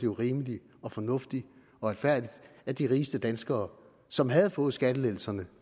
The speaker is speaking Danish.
var rimeligt og fornuftigt og retfærdigt at de rigeste danskere som havde fået skattelettelserne